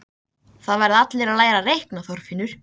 Það verða allir að læra að reikna, Þorfinnur